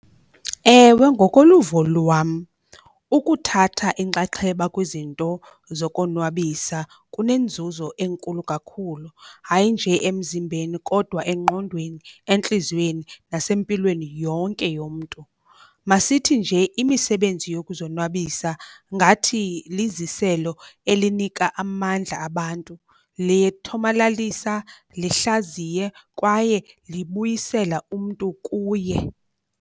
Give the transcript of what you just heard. Ewe, ngokoluvo lwam ukuthatha inkxaxheba kwizinto zokonwabisa kunenzuzo enkulu kakhulu, hayi nje emzimbeni kodwa engqondweni, entliziyweni nasempilweni yonke yomntu. Masithi nje imisebenzi yokuzonwabisa ngathi liziselo elinika amandla abantu. Litya thomalalisa, lihlaziye kwaye libuyisela umntu kuye.